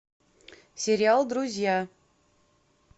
сериал друзья